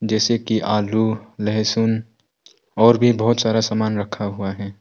जैसे कि आलू लहसुन और भी बहुत सारा सामान रखा हुआ है।